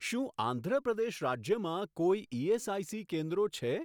શું આંધ્ર પ્રદેશ રાજ્યમાં કોઈ ઇએસઆઇસી કેન્દ્રો છે?